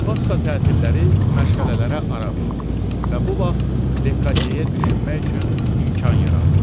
Pasxa tətiləri məşğələlərə ara verdi və bu vaxt Lekadyeyə düşünmək üçün imkan yarandı.